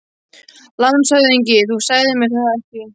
LANDSHÖFÐINGI: Þú sagðir mér það ekki.